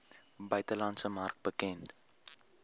buitelandse mark bekend